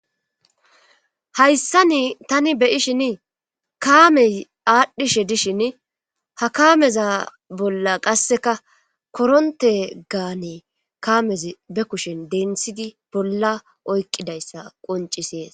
hayssan tani be'ishin kaamey aadhdhishe dishin ha kaameza bolla qasseka korontegane kaameza be kushen denthidi bolla oykqidayssa qoncisees